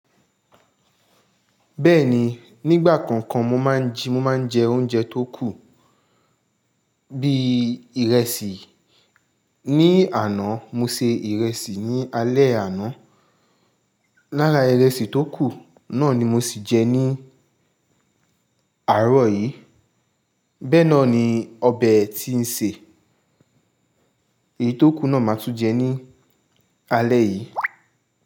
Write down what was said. Bẹ́ẹ̀ni, nígbà kọ̀ọ̀kan mo máa ń jẹ oúnjẹ tó kù bí ìrẹsì. Ni àná mo se ìrẹsì ní alẹ́ àná. Lára ìrẹsì tó kù náà ni mo sì jẹ ní àárọ̀ yìí. Bẹ́ẹ̀ náà ni ọbẹ̀ tí ń sè. Èyí tó kù náà màá tún jẹ ní alẹ́ yìí.